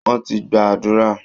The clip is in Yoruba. Wọ́n ti gba àdúrà